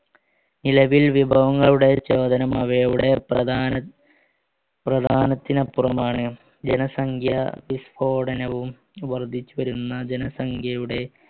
നിലവിൽ വിഭവങ്ങളുടെ അവയുടെ പ്രധാന പ്രധാനത്തിനപ്പുറമാണ് ജനസംഖ്യ വിസ്ഫോടനവും വർധിച്ചുവരുന്ന ജനസംഖ്യയുടെ